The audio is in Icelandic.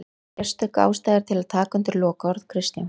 Sérstök ástæða er til að taka undir lokaorð Kristjáns